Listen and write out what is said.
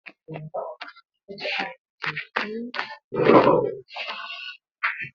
Makobcia na ta haifi yaro la'ana.